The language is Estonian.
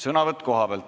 Sõnavõtt kohalt.